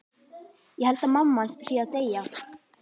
Ég held að mamma hans sé að deyja.